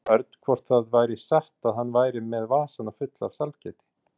Hún spurði Örn hvort það væri satt að hann væri með vasana fulla af sælgæti.